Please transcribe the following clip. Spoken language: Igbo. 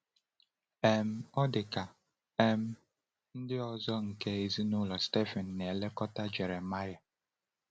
um Ọ̀ dị ka um ndị ọzọ nke ezinụlọ Shaphan na-elekọta Jeremiah?